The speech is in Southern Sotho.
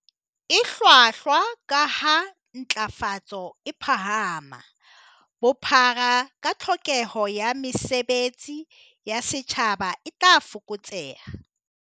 E hlwahlwa, kaha ha ntlafatso e phahama, bophara ba tlhokeho ya mesebe tsi ya setjhaba e tla fokotseha.